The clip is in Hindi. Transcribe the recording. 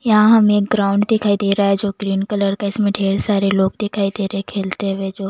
यहाँ हमें एक ग्राउंड दिखाई दे रहा है जो ग्रीन कलर का इसमें ढेर सारे लोग दिखाई दे रहे हैं खेलते हुए जो--